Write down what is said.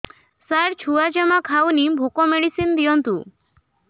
ସାର ଛୁଆ ଜମା ଖାଉନି ଭୋକ ମେଡିସିନ ଦିଅନ୍ତୁ